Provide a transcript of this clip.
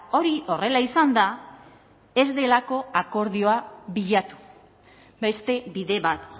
hori horrela izan da ez delako akordioa bilatu beste bide bat